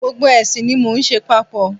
Gbogbo ẹ̀sìn ni mo ń ṣe papọ̀.